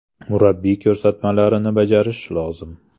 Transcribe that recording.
Murabbiy ko‘rsatmalarini bajarishi lozim.